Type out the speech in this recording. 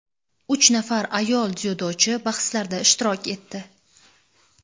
uch nafar ayol dzyudochi bahslarda ishtirok etdi.